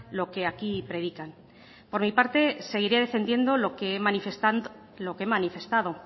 lo que aquí predican por mi parte seguiré defendiendo lo que he manifestado